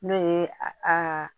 N'o ye a a